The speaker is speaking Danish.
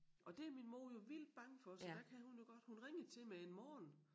Og det min mor jo vildt bange for så der kan hun nu godt hun ringede til mig en morgen